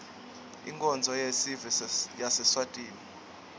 inkonzo yesive yaseswatini